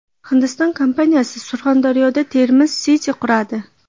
Hindiston kompaniyasi Surxondaryoda Termiz City quradi.